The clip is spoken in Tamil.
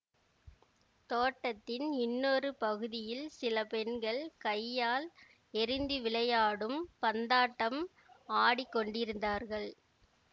தோட்டத்தின் இன்னொரு பகுதியில் சில பெண்கள் கையால் எறிந்து விளையாடும் பந்தாட்டம் ஆடிக் கொண்டிருந்தார்கள்